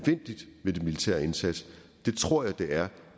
militær indsats det tror jeg det er